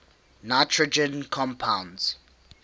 nitrogen compounds